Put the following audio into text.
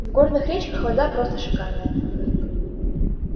в горных речках вода просто шикарная